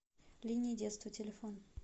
линии детства телефон